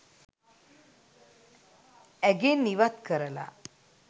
ඇගෙන් ඉවත් කරලා